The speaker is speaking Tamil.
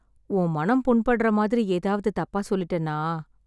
உன் மனம் புண்படறா மாதிரி, எதாவது தப்பா சொல்லிட்டேனா...